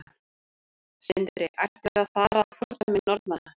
Sindri: Ættum við að fara að fordæmi Norðmanna?